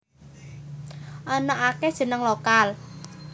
Ana akéh jeneng lokal